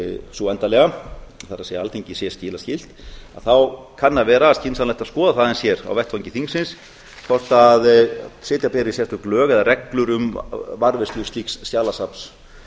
sú endanlega það er alþingi sé til þá kann að vera skynsamlegt að skoða það aðeins hér á vettvangi þingsins hvort setja beri sérstök lög eða reglur um varðveislu slíks skjalasafns